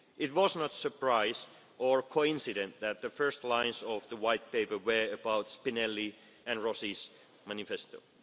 Europe. It was no surprise or coincidence that the first lines of the White Paper were about Spinelli and Rossi's